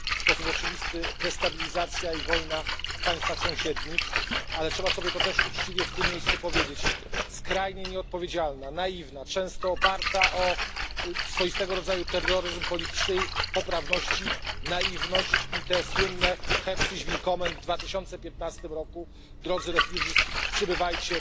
W sposób oczywisty destabilizacja i wojna w państwach sąsiednich, ale też trzeba to sobie uczciwie w tym miejscu powiedzieć skrajnie nieodpowiedzialna, naiwna, często oparta o swoistego rodzaju terroryzm politycznej poprawności naiwność i to słynne Herzlich willkommen w 2015 r. Drodzy uchodźcy, przybywajcie!